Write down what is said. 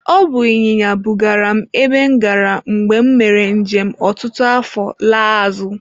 Ọ bụ ịnyịnya bugara m ebe m gara mgbe m mere njem ọtụtụ afọ laa azụ.